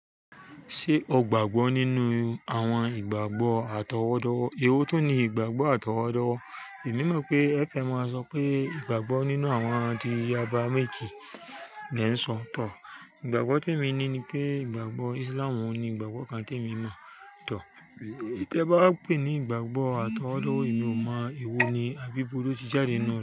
Ṣé ọ gbàgbọ́ nínú àwọn ìgbàgbọ́ àtọwọ́dọwọ? Ewó tún ní ìgbàgbọ́ àtọwọ́dọwọ. Èmi mọ̀ pé ẹfẹ máa sọ pé ìgbàgbọ́ nínú àwọn ti àgbàrá méjì ni ẹ ń sọ tọ̀. Ìgbàgbọ́ tó èmi ní ní pé ìgbàgbọ́ Islam ni ìgbàgbọ́ kan tí èmi mọ̀ tọ́. Tẹ bá pè ní ìgbàgbọ́ àtọwọ́dówó, èmi ò mọ̀ èwo ni abíi ibo lo ti jáde náà.